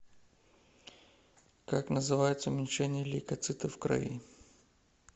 как называется уменьшение лейкоцитов в крови